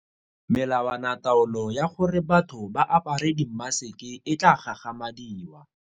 Melawanataolo ya gore batho ba apare dimaseke e tla gagamadiwa.